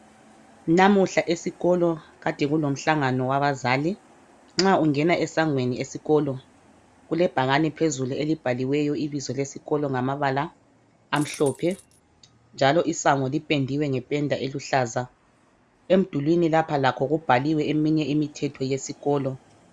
Namuhla esikolo kade kulimhlangano wabazali. Nxa ungena esangweni esikolo kulebhakani phezulu elubhaliweyo ibizo lesikolo ngamabala amhlophe njalo isango lipendiwe ngependa eluhlaza. Emdulwini lapha lakho kubhaliwe eminye imithetho yesikolo.